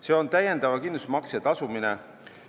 See on täiendava kindlustusmakse tasumine.